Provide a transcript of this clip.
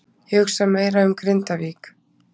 Ég hugsa meira um Grindavík.